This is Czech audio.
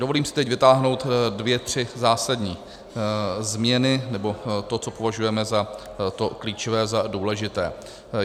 Dovolím si teď vytáhnout dvě tři zásadní změny, nebo to, co považujeme za to klíčové, za důležité.